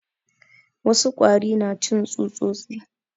Wasu kwari na cin tsutsosi